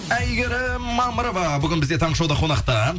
әйгерім мамырова бүгін бізде таңғы шоуда қонақта